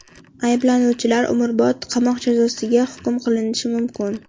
Ayblanuvchilar umrbod qamoq jazosiga hukm qilinishi mumkin.